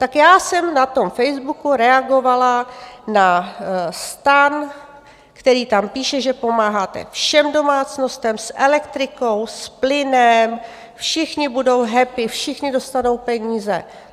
Tak já jsem na tom Facebooku reagovala na STAN, který tam píše, že pomáháte všem domácnostem s elektrikou, s plynem, všichni budou happy, všichni dostanou peníze.